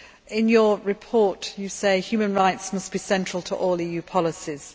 In her report, she says human rights must be central to all EU policies.